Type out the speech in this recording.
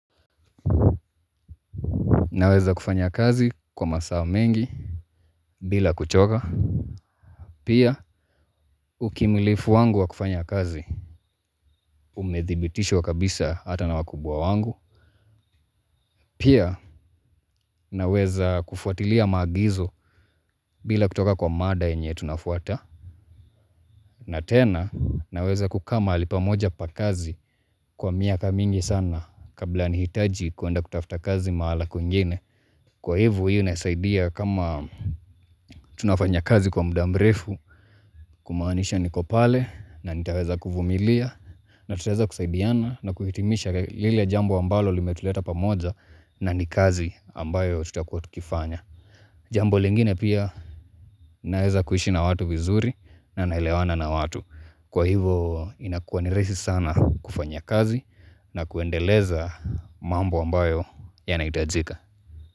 Naweza kufanya kazi kwa masaa mengi bila kuchoka. Pia ukamilifu wangu wa kufanya kazi umedhibitishwa kabisa hata na wakubwa wangu. Pia, naweza kufuatilia maagizo bila kutoka kwa mada yenye tunafuata. Na tena, naweza kukaa mahali pamoja pa kazi kwa miaka mingi sana kabla nihitaji kuenda kutafuta kazi mahala kwingine. Kwa hivo hio inasaidia kama tunafanya kazi kwa muda mrefu kumaanisha niko pale na nitaweza kuvumilia na tutaweza kusaidiana na kuhitimisha lile jambo ambalo limetuleta pamoja na ni kazi ambayo tutakua tukifanya. Jambo lingine pia naweza kuishi na watu vizuri na naelewana na watu. Kwa hivo inakua ni rahisi sana kufanya kazi na kuendeleza mambo ambayo yanaitajika.